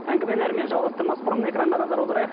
әңгімені әрмен жалғастырмас бұрын экранға назар аударайық